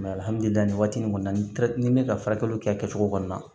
waati nin kɔni na ni n bɛ ka furakɛliw kɛ a kɛcogo kɔni na